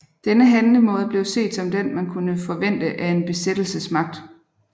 Denne handlemåde blev set som den man kunne forvente af en besættelsesmagt